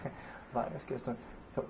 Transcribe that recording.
Várias questões.